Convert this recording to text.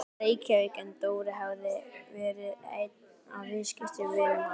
Reykjavík en Dóri hafði verið einn af viðskiptavinum hans.